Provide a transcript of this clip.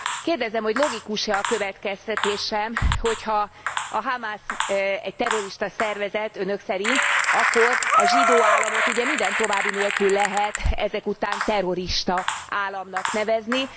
Kérdezem, hogy logikus e a következtetésem, hogy ha a Hamasz egy terrorista szervezet Önök szerint akkor a zsidó államot minden további nélkül lehet ezek után terrorista államnak nevezni.